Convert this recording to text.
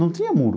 Não tinha muro.